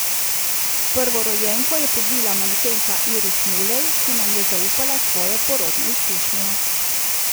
Prvorojenko je povila manekenka Iris Mulej, ki nam je zaupala svojo porodno izkušnjo.